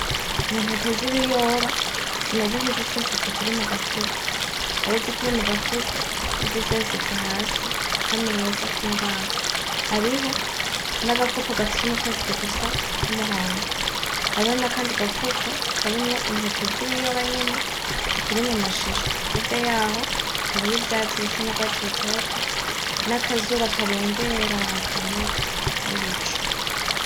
Intente zibiyoba, zimeze nkizisesetse ziri mugafuko. Hari izikiri mugafuko nizisesetse hasi kukameza kimbaho. Hariho, nagakopo gafise umufundikizo usa numuhondo. Hariho nakandi gafuko karimwo intete zibiyoba nyene zikirmwo mumashishwa, hirya yaho hariho ivyatsi bisa nubwatsi rutoto, nakazuba karengera kaboneka, nibicu.